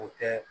O tɛ